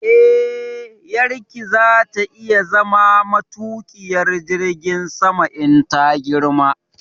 Eh, ƴarki za ta iya zama matuƙiyar jirgin sama in ta girma